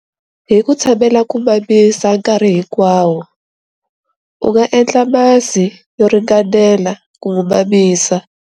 Hi ku tshamela ku mamisa nkarhi hikwawo, u nga endla masi yo ringanela ku n'wi mamisa.